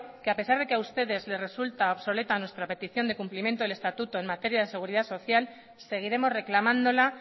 que a pesar de que a ustedes les resulta obsoleta nuestra petición de cumplimiento del estatuto en materia de seguridad social seguiremos reclamándola